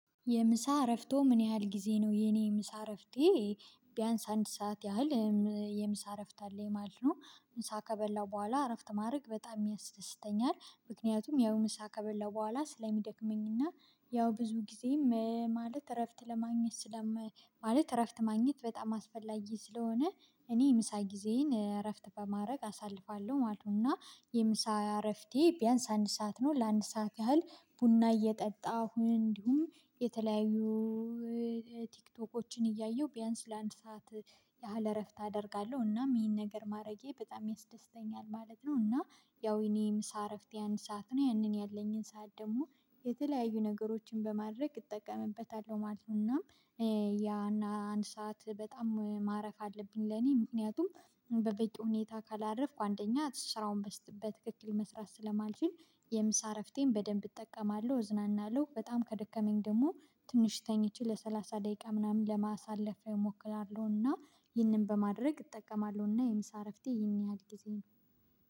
የምሳ እረፍቶ ምን ያህል ጊዜ ነው? የእኔ የምሳ እረፍቴ ቢያንስ አንድ ሰዓት ያህል የምሳ እረፍት አለኝ ማለት ነው። ምሳ ከበላው በኋላ አረፍት ማድረግ በጣም ያስደስተኛል። ምክንያቱም ያው ምሳ ከበላው በኋላ ስለሚደክመኝና ያው ብዙ ጊዜም ማለት እረፍት ለማግኘት ስለም ማለት እረፍት ማግኘት በጣም አስፈላጊ ስለሆነ እኔ የምሳ ጊዜዬን እረፍት በማድረግ አሳልፋለሁ ማለት ነው። እና የምሳ አረፍቴ ቢያንስ አንድ ሰዓት ነው ለአንድ ሰዓት ያህል ቡና እየጠጣሁ፤ እንዲሁም የተለያዩ ቲክቶኮችን እያየሁ ቢያንስ ለአንድ ሰዓት ያህል እረፍት አደርጋለሁ። እናም ይሄን ነገር ማረጌ በጣም ያስደስተኛል ማለት ነው። እና ያው የእኔ ምሳ እረፍቴ አንድ ሰዓት ነው ያንን ያለኝን ሰዓት ደግሞ የተለያዩ ነገሮችን በማድረግ እጠቀምበታለሁ ማለት ነው። እናም ያን አንድ ሰዓት በጣም ማረፍ አለብኝ ለኔ ምክንያቱም በበቂ ሁኔታ ካላረፍኩ አንደኛ ስራውን በትክክል መስራት ስለማልችል የምሳ እረፍቴን በደንብ እጠቀማለሁ፤ እዝናናለሁ። በጣም ከደከመኝ ደግሞ ትንሽ ተኝቼ ለሰላሳ ደቂቃ ምናምን ለማሳለፍ እሞክራለሁ። እና ይህንን በማድረግ እጠቀማለሁ። እና የምሳ እረፍቴ ይህን ያህል ጊዜ ነው።